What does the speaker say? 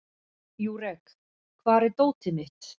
Júrek, hvar er dótið mitt?